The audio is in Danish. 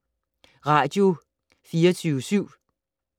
Radio24syv